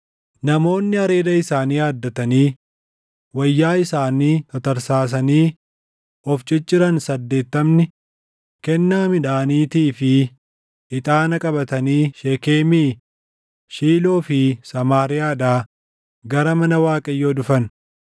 namoonni areeda isaanii haaddatanii, wayyaa isaanii tatarsaasanii, of cicciran Saddeettamni kennaa midhaaniitii fi ixaana qabatanii Sheekemii, Shiiloo fi Samaariyaadhaa gara mana Waaqayyoo dhufan.